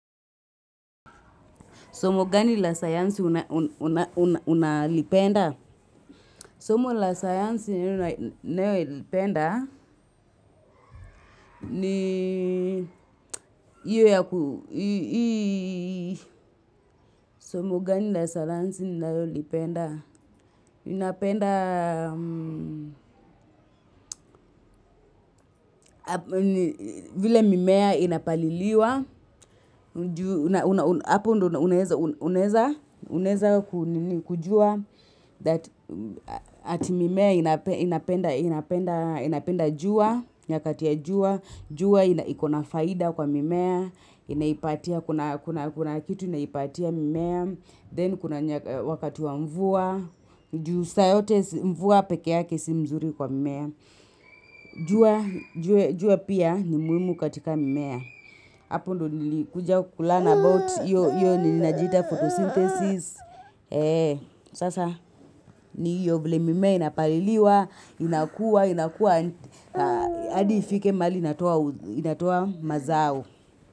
Somo gani la sayansi unalipenda? Somo la sayansi unalipenda ni Somo gani la sayansi unalipenda? Unapenda vile mimea inapaliliwa. Apo uneza kujua ati mimea inapenda jua Nyakatia jua jua ikuna faida kwa mimea Kuna kitu inaipatia mimea Then kuna wakati wa mvua Ju saa yote mvua pekee yake si mzuri kwa mimea jua pia ni muhimu katika mimea Hapo ndo nilikuja kulearn about yo nilinajita photosynthesis Sasa ni hiyo vile mimea inapaliliwa inakua hAdi ifike mahali inatoa mazao.